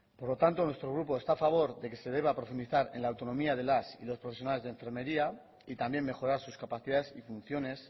por lo tanto nuestro grupo está a favor de que se deba profundizar en la autonomía de las y los profesionales de enfermería y también mejorar sus capacidades y funciones